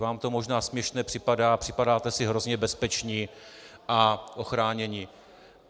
Vám to možná směšné připadá, připadáte si hrozně bezpeční a ochránění.